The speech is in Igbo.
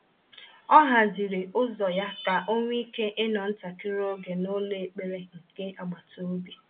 O haziri ụzọ ya ka ọ nwee ike ịnọ ntakịrị oge n’ụlọ ekpere nke agbata obi.